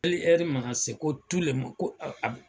Hali ɛri mana se ko ko a a